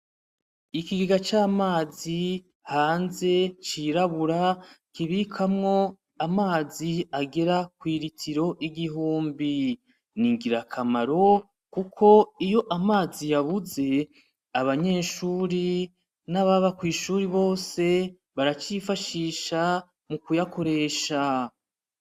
Ikigiga c'amazi hanze cirabura kibikamwo amazi agera kwiritiro igihumbi ni ingirakamaro, kuko iyo amazi yabuze abanyeshuri n'ababa kw'ishuri bose baracifashisha mukuyakoresha.